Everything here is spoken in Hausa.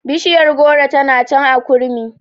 Bishiyar goro ta can a kurmi